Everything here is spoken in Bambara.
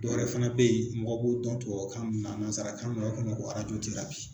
Dɔwɛrɛ fana bɛ yen mɔgɔ b'o dɔn tubabukan mun na ka nazarakan mun na u b'a fo ma